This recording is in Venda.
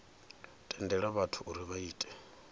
tendela vhathu uri vha ite